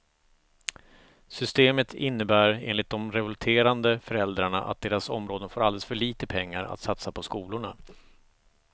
Systemet innebär enligt de revolterande föräldrarna att deras områden får alldeles för lite pengar att satsa på skolorna.